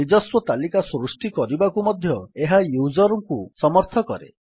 ନିଜସ୍ୱ ତାଲିକା ସୃଷ୍ଟି କରିବାକୁ ମଧ୍ୟ ଏହା ୟୁଜର୍ ଙ୍କୁ ସମର୍ଥ କରେ